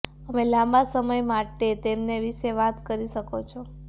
અમે લાંબા સમય માટે તેમને વિશે વાત કરી શકો છો